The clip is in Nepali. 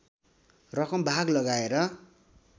रकम भाग लगाएर